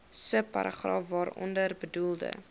subparagraaf waaronder bedoelde